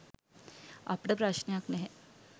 අපට ප්‍රශ්නයක් නැහැ